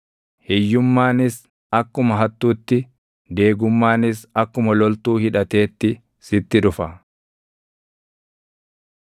hiyyummaanis akkuma hattuutti, deegummaanis akkuma loltuu hidhateetti sitti dhufa.